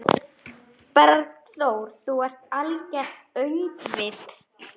Þú ert algert öngvit!